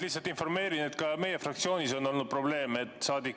Lihtsalt informeerin, et ka meie fraktsioonis oli probleem.